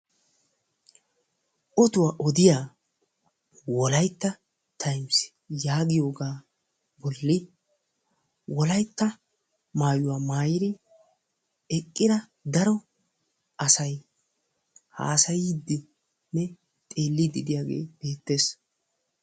Oduwa odiya Wolaytta times yagiyoga bolli wolaytta maayuwa maayidi eqqida daro asay haasayidinne xeellidi de'iyagee beettees.